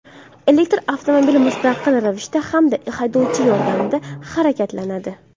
Elektr avtomobil mustaqil ravishda hamda haydovchi yordamida harakatlanadi.